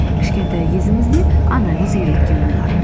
кішкентай кезіңізде анаңыз үйреткен болар